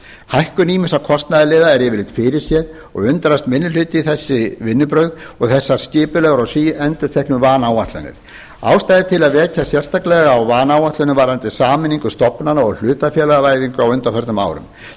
hækkun ýmissa kostnaðarliða er yfirleitt fyrirséð og undrast minni hluti þessi vinnubrögð og þessar skipulegu og síendurteknu vanáætlanir ástæða er til að vekja athygli sérstaklega á vanáætlunum varðandi sameiningu stofnana og hlutafélagavæðingu á undanförnum árum til